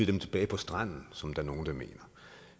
dem tilbage på stranden som nogle mener